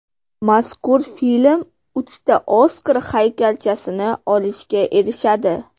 Mazkur film uchta Oskar haykalchasini olishga erishadi.